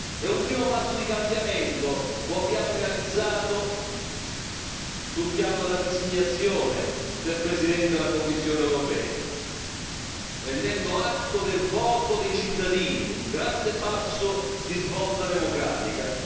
E un primo passo di cambiamento lo abbiamo realizzato sul piano della designazione del Presidente della Commissione europea, prendendo atto del voto dei cittadini un grande passo di svolta democratica.